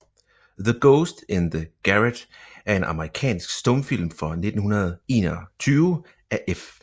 The Ghost in the Garret er en amerikansk stumfilm fra 1921 af F